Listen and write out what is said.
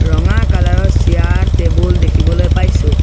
ৰঙা কালাৰ ৰ chair table দেখিবলৈ পাইছোঁ।